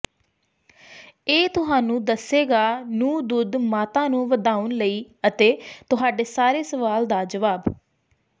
ਇਹ ਤੁਹਾਨੂੰ ਦੱਸੇਗਾ ਨੂੰ ਦੁੱਧ ਮਾਤਾ ਨੂੰ ਵਧਾਉਣ ਲਈ ਅਤੇ ਤੁਹਾਡੇ ਸਾਰੇ ਸਵਾਲ ਦਾ ਜਵਾਬ